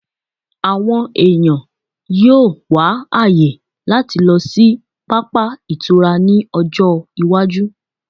àwọn eyan yíò wá àyè lati lo sí papa ìtura ni ọjọ iwaju